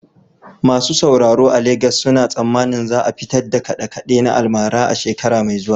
Masu sauraro a Legas suna tsammanin za a fitar da kaɗe-kaɗe na almara a shekara mai zuwa.